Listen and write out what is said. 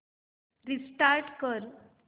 restart कर